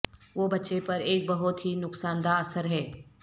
وہ بچے پر ایک بہت ہی نقصان دہ اثر ہے